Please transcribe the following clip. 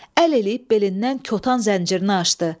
Əl eləyib belindən kotan zəncirini açdı.